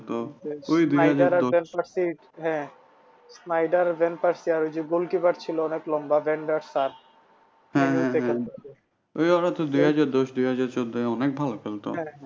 হ্যাঁ হ্যাঁ হ্যাঁ দুই হাজার দশ দুই হাজার চোদ্দোই অনেক ভালো খেলতো।